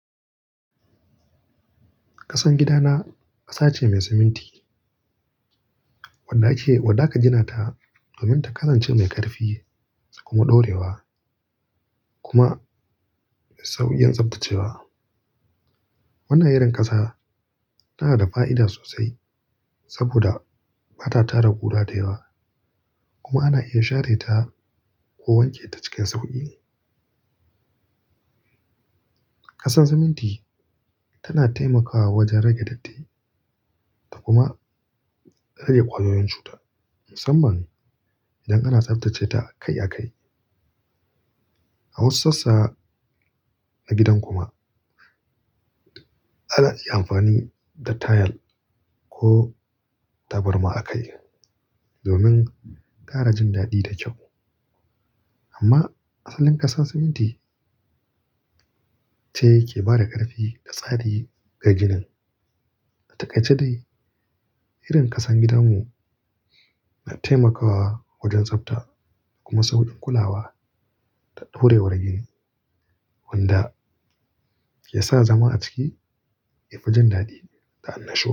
Kasan gida na kasa ce mai siminti wadda aka gina ta domin ta kasance mai ƙarfi kuma ɗorewa kuma sauƙin tsaftacewa. Wannan irin ƙasa tana da fa'ida sosai saboda ba ta tara kuda da yawa, kuma ana iya share ta ko wanke ta cikin sauƙi. Kasan siminti tana taimakawa wajen rage datti da kuma rage ƙwayoyin cuta, musamman idan ana tsaftace ta kai a kai. A wasu sassa na gidan kuma ana iya amfani da tayal ko tabarma a kai domin ƙara jin daɗi da kyau. Amma asalin kasan siminti ce ke ba da ƙarfi da tsari ga ginin. Takaice dai, irin ƙasan gidanmu na taimakawa wajen tsafta kuma sauƙin kulawa da ɗorewar gini, wanda ya sa zama a ciki ya fi jin daɗi da annashuwa.